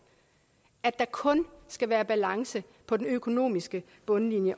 at der kun skal være balance på den økonomiske bundlinje